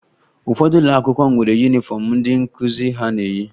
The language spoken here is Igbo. Ụfọdụ ụlọ akwụkwọ nwere yunifọmụ ndị nkụzi ha na-eyi